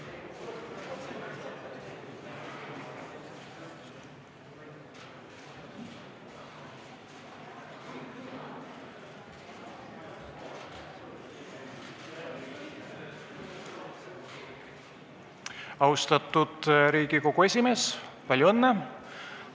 " Austatud Riigikogu esimees, palju õnne!